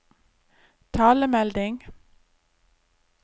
talemelding